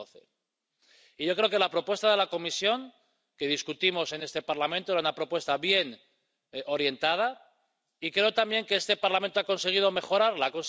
2012. Y yo creo que la propuesta de la Comisión que debatimos en este Parlamento era una propuesta bien orientada, y creo también que este Parlamento ha conseguido mejorarla.